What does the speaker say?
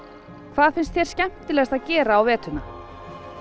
hvað finnst þér skemmtilegast að gera á veturna